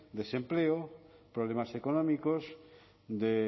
desempleo problemas económicos